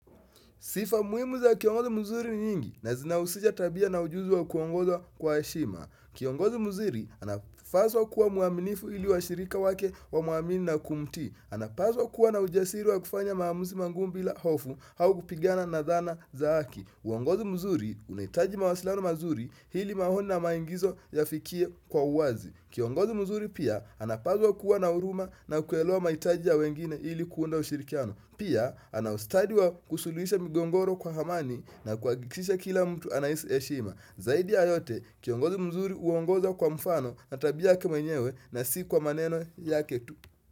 Sifa muimu za kiongozi mzuri nyingi na zinausisha tabia na ujuzi wa kuongoza kwa eshima. Kiongozi mzuri anafaswa kuwa muaminifu ili wa shirika wake wa mwamini na kumtii. Anapaswa kuwa na ujasiri wa kufanya maamuzi mangumu mbila hofu haukupigana na dhana za haki. Uongozi mzuri unaitaji mawasiliano mazuri hili maoni maingizo ya fikie kwa uwazi. Kiongozi mzuri pia anapaswa kuwa na uruma na kuelewa maitaji ya wengine ili kuunda ushirikiano. Pia, anaustadi wa kusuluisha mgongoro kwa hamani na kuakikisha kila mtu anaisi eshima. Zaidi ya yote, kiongozi mzuri uongoza kwa mfano na tabia yake mwenyewe na si kwa maneno ya ketu.